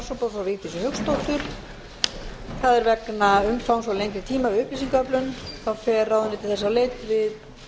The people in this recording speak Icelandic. frá vigdísi hauksdóttur vegna umfangs og lengri tíma við upplýsingaöflun fer ráðuneytið þess á leit við